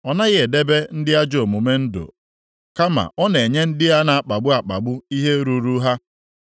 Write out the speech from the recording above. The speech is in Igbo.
Ọ naghị edebe ndị ajọ omume ndụ, kama ọ na-enye ndị a na-akpagbu akpagbu ihe ruuru ha.